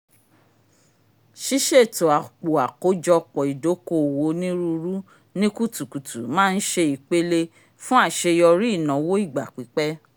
ṣiṣeto àpò àkójọpọ̀ ìdòko-òwò onírúurú ni kùtùkùtù má n ṣe ìpele fún àṣeyọrí ìnáwó ìgbà-pípẹ́